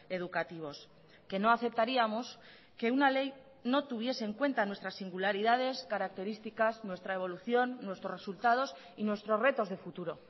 educativos que no aceptaríamos que una ley no tuviese en cuenta nuestras singularidades características nuestra evolución nuestros resultados y nuestros retos de futuro